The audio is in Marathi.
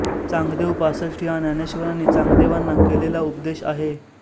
चांगदेव पासष्टी हा ज्ञानेश्वरांनी चांगदेवांना केलेला उपदेश आहे